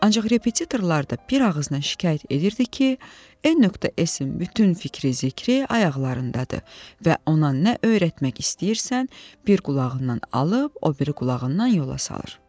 Ancaq repetitorlar da bir ağızdan şikayət edirdi ki, N.S-in bütün fikri-zikri ayaqlarındadır və ona nə öyrətmək istəyirsən, bir qulağından alıb o biri qulağından yola salır.